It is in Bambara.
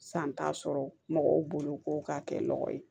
San t'a sɔrɔ mɔgɔw bolo ko ka kɛ nɔgɔ ye